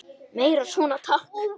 Meira svona, takk!